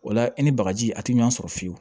O la i ni bagaji a ti ɲɔn sɔrɔ fiyewu